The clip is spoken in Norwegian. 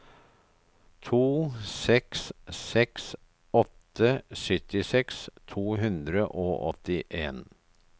to seks seks åtte syttiseks to hundre og åttien